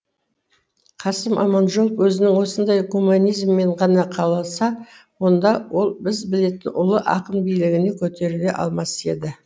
қасым аманжолов өзінің осындай гуманизмімен ғана қалса онда ол біз білетін ұлы ақын биігіне көтеріле алмас еді